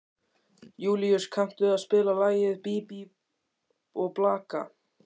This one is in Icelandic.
Júlíus, kanntu að spila lagið „Bí bí og blaka“?